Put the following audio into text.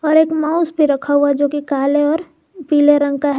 ऊपर एक माउस भी रखा हुआ जो कि काले और पीले रंग का है।